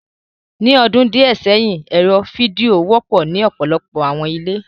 Ni ọdun diẹ sẹhin, ẹrọ fidio wọpọ ni ọpọlọpọ awọn ile